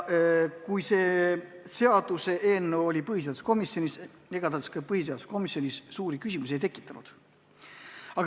Kui see seaduseelnõu oli põhiseaduskomisjonis, siis ega ta suuri küsimusi ei tekitanud.